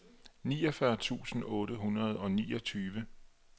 niogfyrre tusind otte hundrede og niogtyve